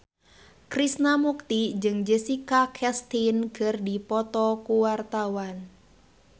Krishna Mukti jeung Jessica Chastain keur dipoto ku wartawan